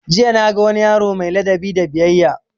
Jiya na ga wani yaro mai ladabi da biyayya